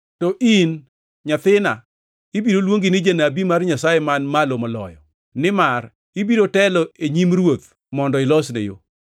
“To in, nyathina, ibiro luongi ni janabi mar Nyasaye Man Malo Moloyo; nimar ibiro telo e nyim Ruoth mondo ilosne yo,